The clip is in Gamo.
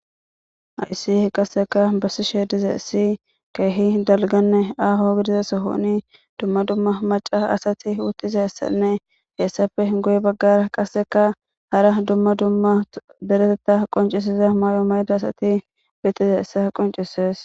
Ha miissiley bessizayssi kehi dalggane aho sohon dumma dumma macca asati dizayssa beses.hesape guye bagara qaseka hara duma duma deretetha qoncisiza mayo mayoda asati beetizaysa qoncisees.